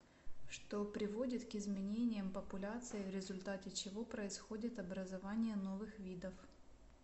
что приводит к изменениям популяций в результате чего происходит образование новых видов